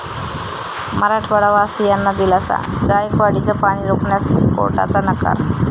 मराठवाडावासियांना दिलासा, जायकवाडीचं पाणी रोखण्यास कोर्टाचा नकार